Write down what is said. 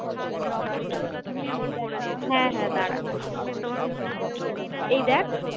হ্যাঁ হ্যাঁ দাঁড়া এই দেখ